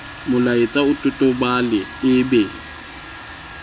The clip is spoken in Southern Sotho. molaetsa o totobale e be